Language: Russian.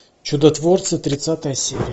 чудотворцы тридцатая серия